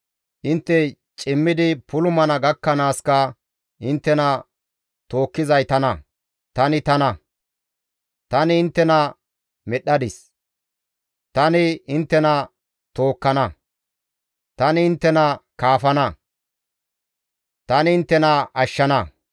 Intte cimmidi puulumana gakkanaaska inttena tookkizay tana; tani tana; tani inttena medhdhadis; tani inttena tookkana; tani inttena kaafana; ta inttena ashshana.